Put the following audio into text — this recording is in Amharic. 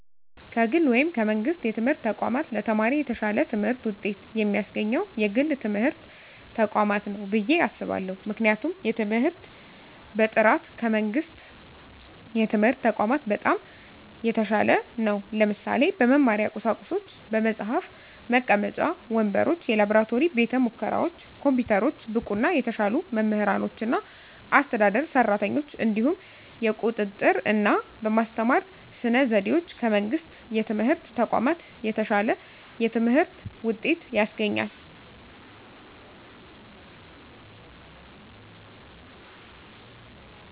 ከግል ወይም ከመንግሥት የትምህርት ተቋማት ለተማሪ የተሻለ ትምህርት ውጤት የሚያስገኘው የግል ትምህርት ተቋማት ነው ብየ አስባለሁ ምክንያቱም የትምህርት በጥራቱ ከመንግስት የትምህርት ተቋማት በጣም የተሻለ ነው ለምሳሌ - በመማሪያ ቁሳቁሶች በመፅሀፍ፣ መቀመጫ ወንበሮች፣ የላብራቶሪ ቤተሙከራዎች፣ ኮምፒውተሮች፣ ብቁና የተሻሉ መምህራኖችና አስተዳደር ሰራተኞች፣ እንዲሁም የቁጥጥ ርና በማስተማር ስነ ዘዴዎች ከመንግስት የትምህርት ተቋማት የተሻለ የትምህርት ውጤት ያስገኛል።